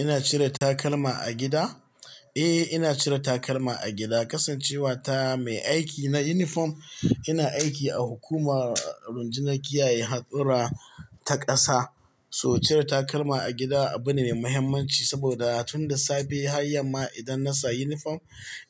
Ina cire takalma a gida? Eh, ina cire takalma a gida, kasancewa ta mai aiki na uniform. Ina aiki a hukumar rundunar kiyaye hadura ta ƙasa. So cire takalma a gida abu ne mai muhimmanci saboda tun da safe har yamma idan na sa uniform,